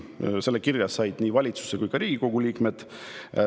Nende kirja said nii valitsuse kui ka Riigikogu liikmed.